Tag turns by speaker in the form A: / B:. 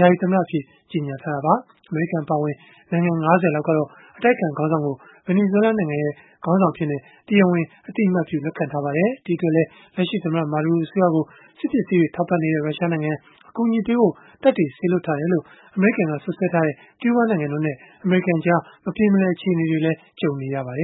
A: ယာယီသမ္မတအဖြစ် ကြေညာထားတာပါ။ အမေရိကန်အပါအဝင် နိုင်ငံ ၅၀ လောက်ကတော့ အတိုက်အခံ ခေါင်းဆောင်ကို ဗင်နီဇွဲ လားနိုင်ငံ ခေါင်းဆောင်အဖြစ် တရားဝင် အသိအမှတ်ပြု လက်ခံထားကြပါတယ်။ ဒီအတွက် လက်ရှိသမ္မတ Maduro အစိုးရကို စစ်ပစ္စည်းတွေ ထောက်ပံ့နေတဲ့ ရုရှားနိုင်ငံ၊ အကူအညီပေးဖို့ တပ်တွေ စေလွှတ်ထားတယ်လို့ အမေရိကန်က စွပ်စွဲထားတဲ့ ကျူးဘားနိုင်ငံတို့နဲ့ အမေရိကန်ကြား မပြေမလည် အခြေအနေတွေနဲ့လည်း
B: ကြုံနေရပါတယ